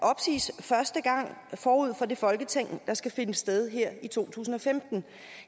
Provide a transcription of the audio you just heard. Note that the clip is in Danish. opsiges første gang forud for det folketingsvalg der skal finde sted her i to tusind og femten